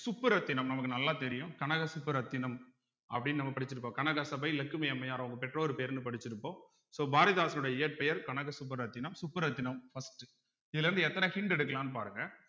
சுப்புரத்தினம் நமக்கு நல்லா தெரியும் கனக சுப்புரத்தினம் அப்படின்னு நம்ம படிச்சிருப்போம் கனகசபை இலக்குமி அம்மையார் அவங்க பெற்றோர் பேருன்னு படிச்சிருப்போம் so பாரதிதாசனுடைய இயற்பெயர் கனக சுப்புரத்தினம் சுப்புரத்தினம் first உ இதுல இருந்து எத்தன hint எடுக்கலான்னு பாருங்க